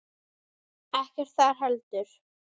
Ekkert þar heldur.